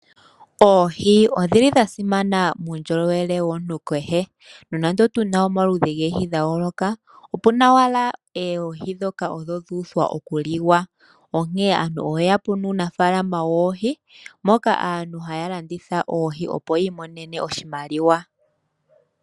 Oohi odhili dha simana muundjolowele womuntu kehe. Nonande otuna omaludhi goohi dha yooloka, opuna owala oohi ndhoka odho dhu uthwa oku liwa. Onkene aantu oya kunu uunafaalama woohi moka aantu haya landitha oohi opo yi imonene oshimaliwa.